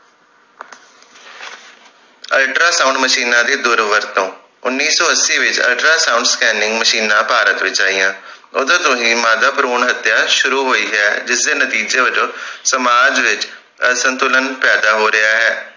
Ultra sound ਮਸ਼ੀਨਾਂ ਦੀ ਦੁਰ ਵਰਤੋਂ ਉੱਨੀ ਸੋ ਅੱਸੀ ਵਿਚ ਅਲਟਰਾ ਸਾਊਂਡ ਸਕੈਨਨਿੰਗ ਮਸ਼ੀਨਾਂ ਭਾਰਤ ਵਿਚ ਆਈਆਂ ਓਦੋਂ ਤੋਂ ਹੀ ਮਾਦਾ ਭਰੂਣ ਹਤਿਆ ਸ਼ੁਰੂ ਹੋਈ ਹੈ ਜਿਸ ਦੇ ਨਤੀਜੇ ਵੱਜੋਂ ਸਮਾਜ ਵਿਚ ਅਸੰਤੁਲਨ ਪੈਦਾ ਹੋ ਰਹੀਆਂ ਹੈ ।